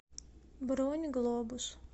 бронь глобус